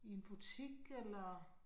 I en butik eller